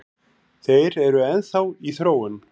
Þeir eru enn þá í þróun